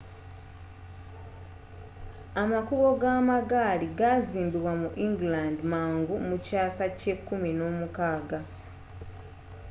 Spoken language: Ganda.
amakubo g'amagaali gazimbibwa mu england mangu mu kyaasa kye 16